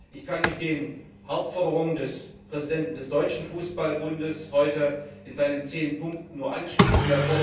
Ich kann mich den Hauptforderungen des Präsidenten des Deutschen Fußballbundes heute in seinen zehn Punkten nur anschließen.